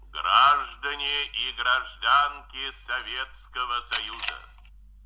граждане и гражданки советского союза